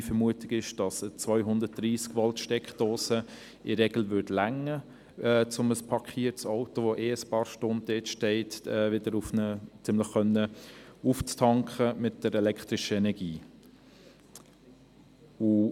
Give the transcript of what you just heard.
Meine Vermutung ist, dass eine 230-Volt- Steckdose in der Regel ausreichen würde, um ein parkiertes Auto, welches sowieso einige Stunden dort steht, mit elektrischer Energie aufzutanken.